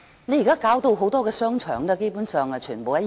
現在它把很多商場打造到基本上完全一樣。